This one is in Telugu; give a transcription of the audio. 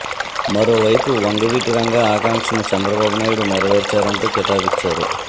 మరోవైపు వంగవీటి రంగా ఆకాంక్షను చంద్రబాబు నాయుడు నెరవేర్చారంటూ కితాబిచ్చారు